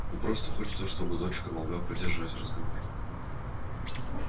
но просто хочется чтобы дочка могла поддержать разговор